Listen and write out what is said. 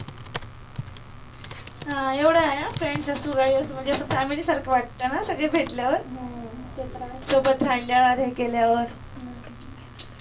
एवढ आहे हा friends असो काही असो अस family असो सारखं वाटतं ना सगळे भेटल्यावर सोबत राहिल्यावर हे केल्यावर